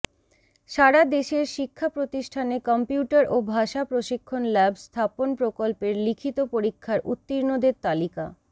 সারাদেশের শিক্ষা প্রতিষ্ঠানে কম্পিউটার ও ভাষা প্রশিক্ষণ ল্যাব স্থাপন প্রকল্পের লিখিত পরীক্ষার উত্তীর্ণদের তালিকা